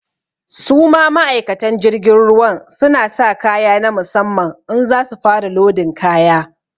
Su ma ma'aikatan jirgin ruwan, su na sa kaya na musamman in za su fara lodin kaya.